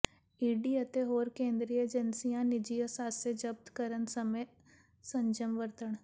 ED ਅਤੇ ਹੋਰ ਕੇਂਦਰੀ ਏਜੰਸੀਆਂ ਨਿੱਜੀ ਅਸਾਸੇ ਜ਼ਬਤ ਕਰਨ ਸਮੇਂ ਸੰਜਮ ਵਰਤਣ